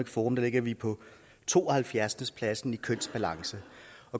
forum ligger vi på tooghalvfjerdsende pladsen i kønsbalance